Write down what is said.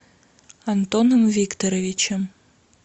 антоном викторовичем